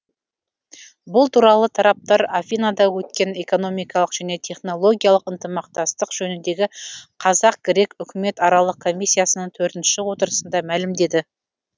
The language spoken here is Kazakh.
бұл туралы тараптар афинада өткен экономикалық және технологиялық ынтымақтастық жөніндегі қазақ грек үкіметаралық комиссиясының төртінші отырысында мәлімдеді